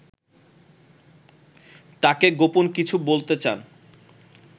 তাঁকে গোপন কিছু বলতে চান